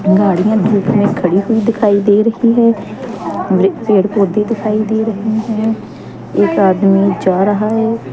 गाड़ियां धूप में खड़ी हुई दिखाई दे रही है वृ पेड़ पौधे दिखाई दे रहे हैं एक आदमी जा रहा है।